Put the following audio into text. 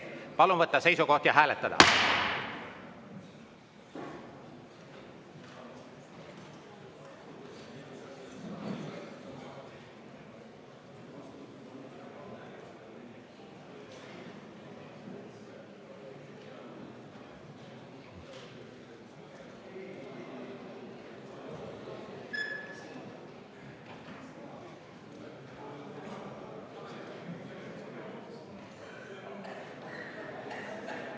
Palun võtta seisukoht ja hääletada!